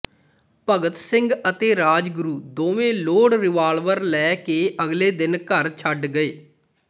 ਭਗਤ ਸਿੰਘ ਅਤੇ ਰਾਜਗੁਰੂ ਦੋਵੇਂ loaded revolver ਲੈ ਕੇ ਅਗਲੇ ਦਿਨ ਘਰ ਛੱਡ ਗਏ